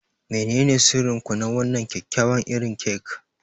Menene sirrin ku na wannan kyakkyawan irin kek?